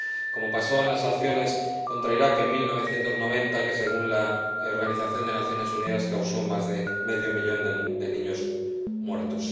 Como pasó con las sanciones contra Irak en 1990, que, según la Organización de Naciones Unidas, causaron más de medio millón de niños muertos.